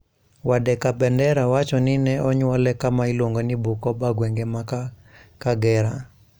Wade Kabendera wacho ni ne onyuole kama iluongo ni Bukoba gwenge ma Kagera,